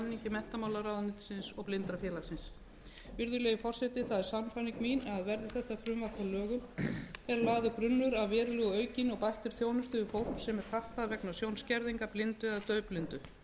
menntamálaráðuneytisins og blindrafélagsins virðulegi forseti það er sannfæring mín að verði þetta frumvarp að lögum sé lagður grunnur að verulega aukinni og bættri þjónustu við fólk sem er fatlað vegna sjónskerðingar blindu eða daufblindu að